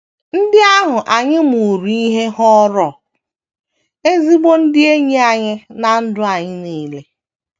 Ndị ahụ anyị mụụrụ ihe ghọrọ ezigbo ndị enyi anyị ná ndụ anyị nile.